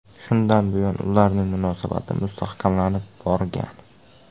Shundan buyon ularning munosabati mustahkamlanib borgan.